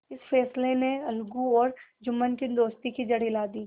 इस फैसले ने अलगू और जुम्मन की दोस्ती की जड़ हिला दी